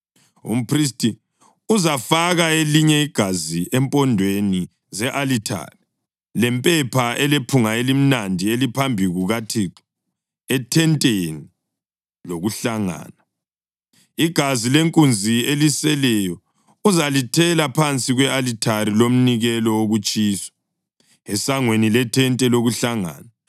Umphristi uzafaka elinye igazi empondweni ze-alithare lempepha elephunga elimnandi eliphambi kukaThixo ethenteni lokuhlangana. Igazi lenkunzi eliseleyo uzalithela phansi kwe-alithari lomnikelo wokutshiswa, esangweni lethente lokuhlangana.